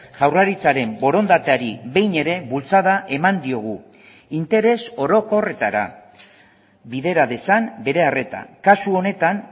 jaurlaritzaren borondateari behin ere bultzada eman diogu interes orokorretara bidera dezan bere arreta kasu honetan